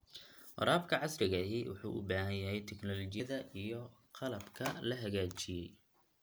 Waraabka casriga ahi wuxuu u baahan yahay tignoolajiyada iyo qalabka la hagaajiyay.